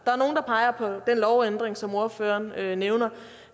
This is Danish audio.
peger på den lovændring som ordføreren nævner